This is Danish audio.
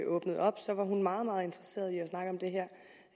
åbnede op var hun meget meget interesseret i